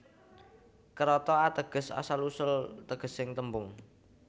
Kérata ateges asal usul tegesing tembung